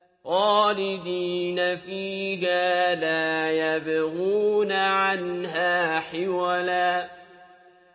خَالِدِينَ فِيهَا لَا يَبْغُونَ عَنْهَا حِوَلًا